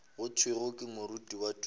go thwego ke moruti tumelo